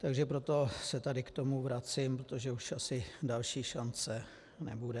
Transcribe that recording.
Takže proto se tady k tomu vracím, protože už asi další šance nebude.